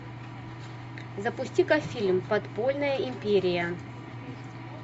запусти ка фильм подпольная империя